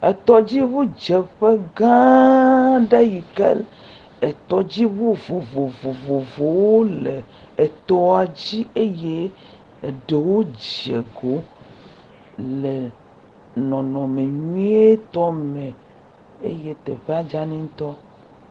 Etɔdziŋudzeƒe gãaa aɖe yi ke etɔdiŋu vovovovowo le etɔa dzi eye eɖewo dze goo le nɔnɔme nyuietɔ me. eye teƒea dzani ŋutɔ.